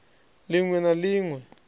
lin we na lin we